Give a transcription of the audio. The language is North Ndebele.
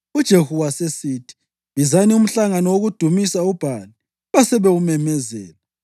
UJehu wasesithi, “Bizani umhlangano wokudumisa uBhali.” Basebewumemezela.